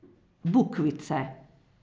Bukvice.